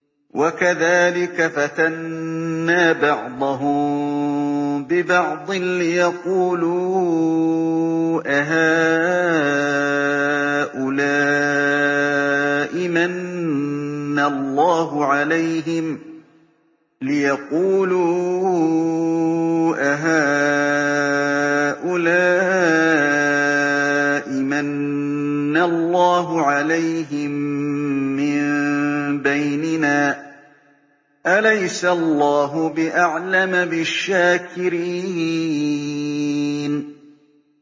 وَكَذَٰلِكَ فَتَنَّا بَعْضَهُم بِبَعْضٍ لِّيَقُولُوا أَهَٰؤُلَاءِ مَنَّ اللَّهُ عَلَيْهِم مِّن بَيْنِنَا ۗ أَلَيْسَ اللَّهُ بِأَعْلَمَ بِالشَّاكِرِينَ